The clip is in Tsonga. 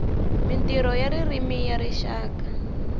mintirho ya ririmi ya rixaka